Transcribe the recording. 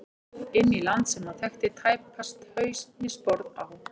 Inn í land sem hann þekkti tæpast haus né sporð á.